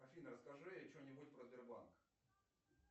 афина расскажи что нибудь про сбербанк